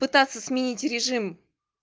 пытаться сменить режим